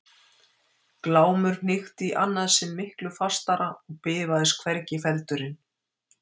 Glámur hnykkti í annað sinn miklu fastara og bifaðist hvergi feldurinn.